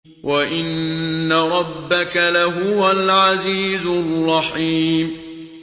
وَإِنَّ رَبَّكَ لَهُوَ الْعَزِيزُ الرَّحِيمُ